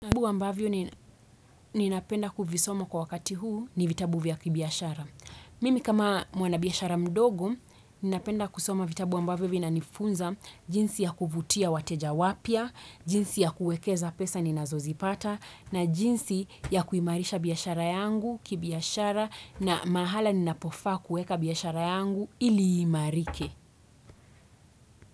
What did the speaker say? Imbu ambavyo ninapenda kufisoma kwa wakati huu ni vitabu vya kibiashara. Mimi kama mwana biashara mdogo, ni napenda kufisoma vitabu ambavyo vinanifunza jinsi ya kuvutia wateja wapia, jinsi ya kuekeza pesa ninazozipata, na jinsi ya kuimarisha biashara yangu, kibiashara, na mahala ninapofa kueka biashara yangu ili imarike.